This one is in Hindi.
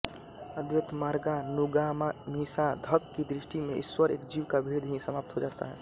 अद्वैतमार्गानुगामीसाधक की दृष्टि में ईश्वर एवं जीव का भेद ही समाप्त हो जाता है